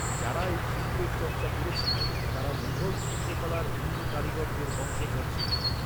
যারা এই শিল্পের চর্চা করেছিল, তারা মুঘল চিত্রকলার হিন্দু কারিগরদের বংশধর ছিল।